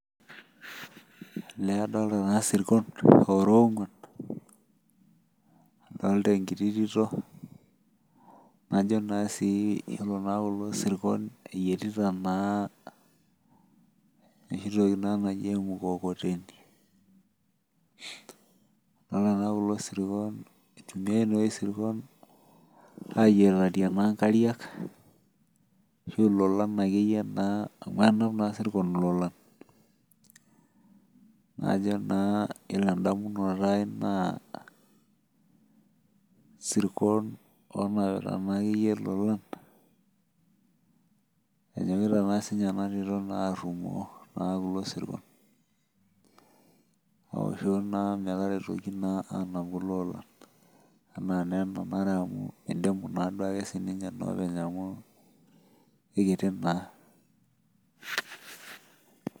Elee adolita taa sirkon loora ong'uan, adolita enkiti tito najo naa sii iyiolo naa kulo sirkon eyietita anaa enkiti toki naa naji emukokoteni. Idolita naa kulo sirkon eitumiai naa sirkon ayietarie naa nkariak, ashu lolan akeyie naa amu enap naa sirkon ilolan. Najo naa iyiolo endamunoto aai naa sirkon onapita naakeyie lolan enyokita naa sinye enatito naa arrumoo naa kulo sirkon. Aoshoo naa metaretoki naa anap kuloolan anaa naa enanare amu eidimu naa duake sininye noopeny amu eikiti naa.